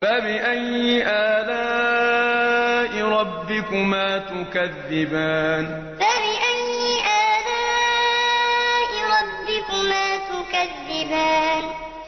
فَبِأَيِّ آلَاءِ رَبِّكُمَا تُكَذِّبَانِ فَبِأَيِّ آلَاءِ رَبِّكُمَا تُكَذِّبَانِ